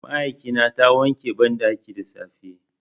Mai aikina ta wanke banɗakin da safe.